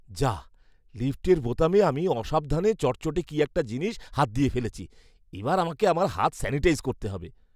যাঃ! লিফটের বোতামে আমি অসাবধানে চটচটে কী একটা জিনিসে হাত দিয়ে ফেলেছি। এবার আমাকে আমার হাত স্যানিটাইজ করতে হবে।